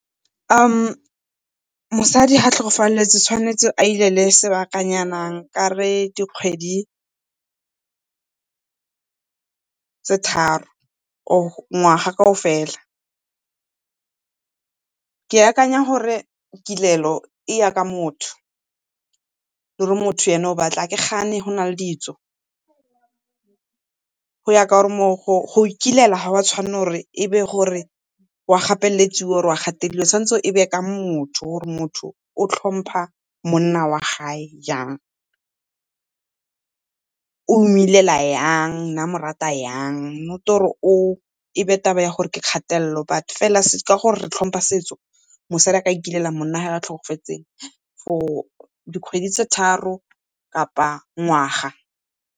Mosadi ga a tlhokafaletswe o tshwanetse a ilele sebakanyana nkare dikgwedi tse tharo or ngwaga kaofela. Ke akanya gore kilelo e ya ka motho, gore motho ene o batla eng. Ga ke gane go na le ditso go ikilela ga o a tshwanela gore e be gore wa gapeletsiwa or wa gatelediwa, tshwanetse e be ka motho gore motho o tlhompa monna wa gae jang. O mo ilela yang o ne a mo rata yang, not-e gore e be taba ya gore ke kgatelelo but fela ka gore re tlhompa setso, mosadi a ka ikilela monna wa gagwe a tlhokafetse for dikgwedi tse tharo kapa ngwaga.